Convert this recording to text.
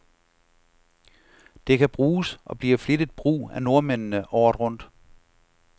Det kan bruges, og bliver flittigt brug af nordmændene, året rundt.